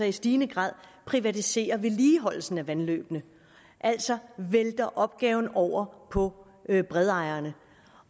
i stigende grad privatiserer vedligeholdelsen af vandløbene altså vælter opgaven over på bredejerne